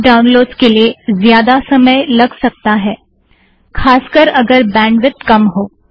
कुछ डाउनलोड्स के लिए ज्यादा समय लग सकता है ख़ास कर अगर बैंडविदत कम हो